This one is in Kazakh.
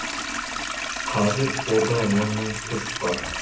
қазір қорда он мың тест бар